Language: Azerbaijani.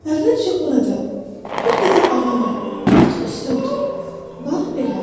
Əvvəlcə orada, bir qədər aralı, otun üstə otur, bax belə.